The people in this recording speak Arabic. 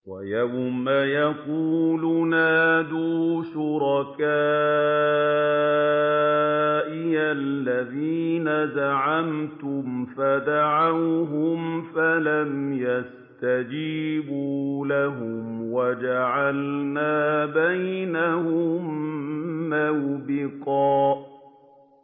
وَيَوْمَ يَقُولُ نَادُوا شُرَكَائِيَ الَّذِينَ زَعَمْتُمْ فَدَعَوْهُمْ فَلَمْ يَسْتَجِيبُوا لَهُمْ وَجَعَلْنَا بَيْنَهُم مَّوْبِقًا